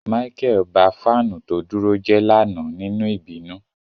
Micheal ba fanu to duro je lana ninu ibinu.